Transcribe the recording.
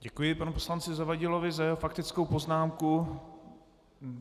Děkuji panu poslanci Zavadilovi za jeho faktickou poznámku.